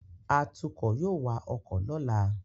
Atukọ̀ yóò wa ọkọ̀ lọ́la